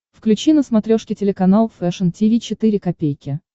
включи на смотрешке телеканал фэшн ти ви четыре ка